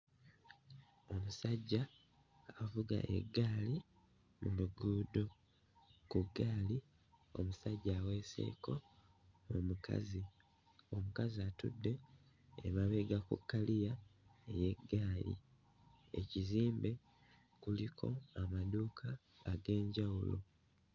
Omusajja avuga eggaali mu luguudo. Ku ggaali omusajja aweeseeko omukazi, omukazi atudde emabega ku kkaliya ey'eggaali. Ekizimbe kuliko amaduuka ag'enjawulo.